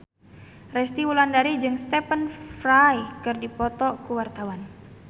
Resty Wulandari jeung Stephen Fry keur dipoto ku wartawan